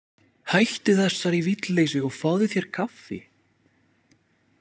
Hættu þessari vitleysu og fáðu þér kaffi.